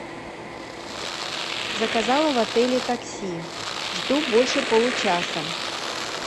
заказала в отеле такси жду больше получаса